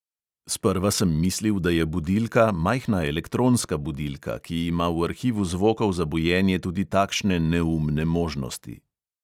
Sprva sem mislil, da je budilka, majhna elektronska budilka, ki ima v arhivu zvokov za bujenje tudi takšne neumne možnosti.